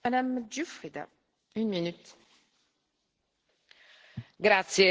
Signora Presidente, onorevoli